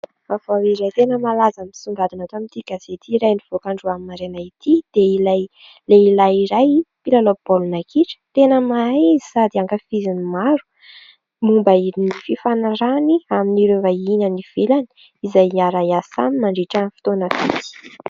Vaovao iray tena malaza misongadina ato amin'ity gazety iray mivoaka androany maraina ity dia ilay lehilahy iray mpilalao baolina kitra tena mahay izy sady ankafizin'ny maro. Momba ny fifanarahany amin'ireo vahiny any ivelany izay hiara-iasa aminy mandritra ny fotoana vitsy.